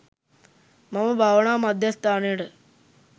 මම භාවනා මධ්‍යස්ථානයට